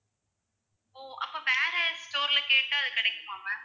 ஓ அப்போ வேற store ல கேட்டா அது கிடைக்குமா ma'am